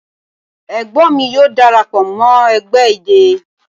Egbon mi yoo darapo mo egbe idẹ